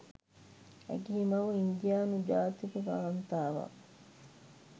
ඇගේ මව ඉන්දියානු ජාතික කාන්තාවක්